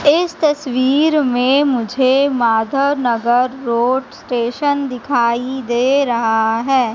इस तस्वीर में मुझे माधवनगर रोड स्टेशन दिखाई दे रहा है।